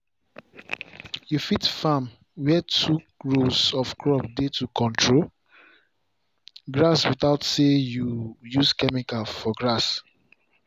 you fit farm where two rows of crops dey to control grass without say you use chemical for grass.